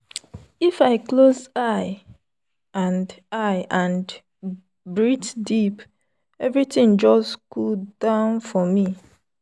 if i close eye and eye and breathe deep everything just cool down for me.